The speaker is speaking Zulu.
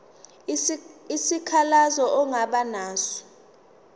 isikhalazo ongaba naso